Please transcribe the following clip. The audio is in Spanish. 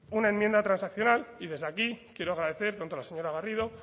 una enmienda transaccional y desde aquí quiero agradecer tanto a la señora garrido